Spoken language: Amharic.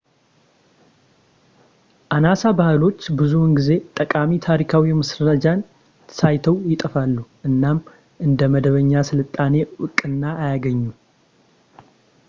አናሳ ባህሎች ብዙውን ጊዜ ጠቃሚ ታሪካዊ ማስረጃን ሳይተዉ ይጠፋሉ እናም እንደ መደበኛ ሥልጣኔ ዕውቅና አያገኙም